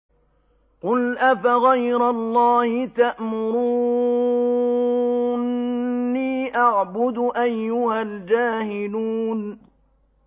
قُلْ أَفَغَيْرَ اللَّهِ تَأْمُرُونِّي أَعْبُدُ أَيُّهَا الْجَاهِلُونَ